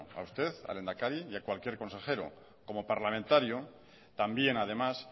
a usted al lehendakari y a cualquier consejero como parlamentario también además